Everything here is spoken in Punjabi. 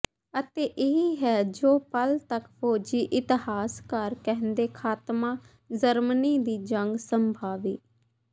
ਅਤੇ ਇਹ ਹੈ ਜੋ ਪਲ ਤੱਕ ਫੌਜੀ ਇਤਿਹਾਸਕਾਰ ਕਹਿੰਦੇ ਖਾਤਮਾ ਜਰਮਨੀ ਦੀ ਜੰਗ ਸੰਭਾਵੀ